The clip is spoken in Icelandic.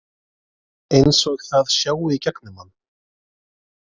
Eins og það sjái í gegnum mann.